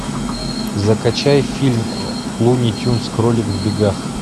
закачай фильм луни тюнз кролик в бегах